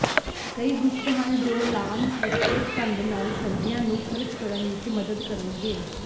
ਕਈ ਗੁਪਤ ਹਨ ਜੋ ਲਾਅਨ ਸੁਰੱਖਿਅਤ ਢੰਗ ਨਾਲ ਸਰਦੀਆਂ ਨੂੰ ਖਰਚ ਕਰਨ ਵਿੱਚ ਮਦਦ ਕਰਨਗੇ